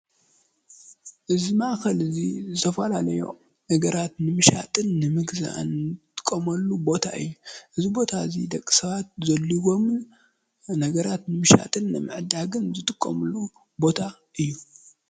እዚ ማእኸል እዚ ዝተፈላላዩ ነገራት ንምሻጥን ንምግዛእን ንጥቀመሉ ቦታ እዩ፡፡ እዚ ቦታ እዙይ ደቂ ሰባት ዘድልዮምን ነገራት ብምሻጥን ብምዕዳግን ዝጥቀምሉ ቦታ እዩ፡፡